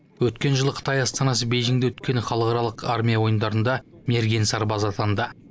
өткен жылы қытай астанасы бейжіңде өткен халықаралық армия ойындарында мерген сарбаз атанды